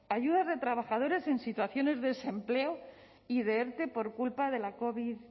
a ayudas de trabajadores en situaciones de desempleo y de erte por culpa de la covid